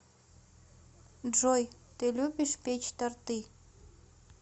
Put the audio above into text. джой ты любишь печь торты